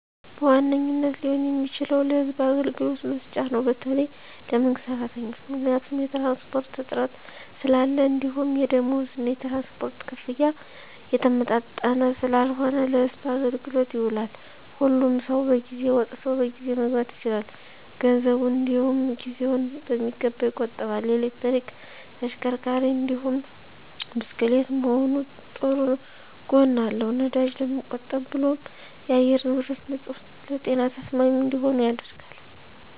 በዋነኝነት ሊሆን የሚችለው ለህዝብ አገልግሎት መስጫ ነው በተለይ ለመንግስት ሰራተኞች። ምክንያቱም የትራንስፖርት እጥረት ስላለ እንዲሁም የደምወዝ እና የትራንስፖርት ክፍያ የተመጣጠነ ስላልሆነ ለህዝብ አገልግሎት ይውላል። ሁሉም ሰው በጊዜ ወጥቶ በጊዜ መግባት ይችላል፣ ገንዘቡን እንዲውም ጊዜውን በሚገባ ይቆጥባል። የኤሌክትሪክ ተሽከርካሪ እንዲሁም ብስክሌት መሆኑ ጥሩ ጎን አለው ነዳጅ ለመቆብ ብሎም የአየር ንብረቶች ንፁህ ለጤና ተስማሚ እንዲሆኑ ያደርጋል።